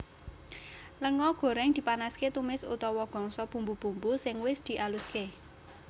Lenga goreng dipanaske tumis utawa gongso bumbu bumbu sing wis dialuske